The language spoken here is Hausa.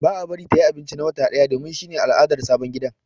Ba a bari ta yi abinci na wata daya ba domin shi ne al'adar sabon ma'aurata ã gidan.